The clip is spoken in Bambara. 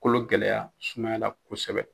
Kolo gɛlɛya sumaya la kosɛbɛ.